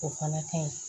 O fana ka ɲi